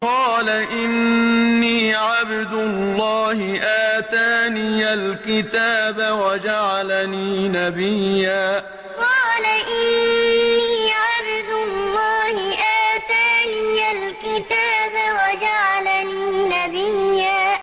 قَالَ إِنِّي عَبْدُ اللَّهِ آتَانِيَ الْكِتَابَ وَجَعَلَنِي نَبِيًّا قَالَ إِنِّي عَبْدُ اللَّهِ آتَانِيَ الْكِتَابَ وَجَعَلَنِي نَبِيًّا